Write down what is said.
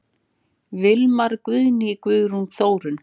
Vilmar, Guðný, Guðrún og Þórunn.